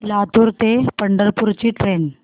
लातूर ते पंढरपूर ची ट्रेन